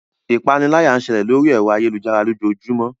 Ipániláyà ń ṣẹlẹ̀ lóri ẹ̀rọ ayélujára lójoojúmó.